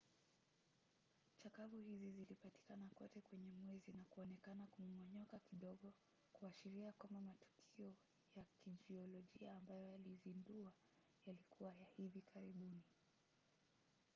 chakavu hizi zilipatikana kote kwenye mwezi na kuonekana kumomonyoka kidogo, kuashiria kwamba matukio ya kijiolojia ambayo yaliziunda yalikuwa ya hivi karibuni